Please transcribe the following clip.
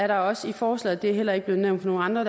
der også i forslaget det er heller ikke blevet nævnt af nogen andre